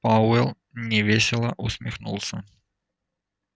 пауэлл невесело усмехнулся